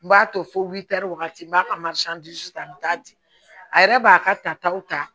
N b'a to fo wagati n m'a ka ta n bi taa di a yɛrɛ b'a ka tataw ta